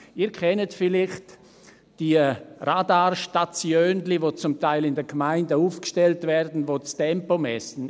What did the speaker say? Sie kennen vielleicht die Radarstatiönchen, die in den Gemeinden zum Teil aufgestellt werden und die das Tempo messen.